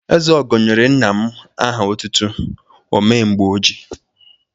Ezeogo nyere nna m aha ọtụtụ "o mee mgbe o ji'.